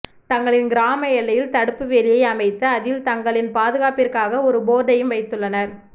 தங்களின் கிராம எல்லையில் தடுப்பு வேலியை அமைத்து அதில் தங்களின் பாதுகாப்பிற்காக ஒரு போர்டையும் வைத்துள்ளனர்